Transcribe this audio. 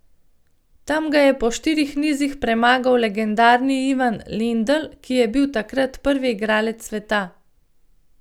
Tam ga je po štirih nizih premagal legendarni Ivan Lendl, ki je bil takrat prvi igralec sveta.